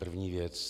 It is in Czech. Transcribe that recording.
První věc: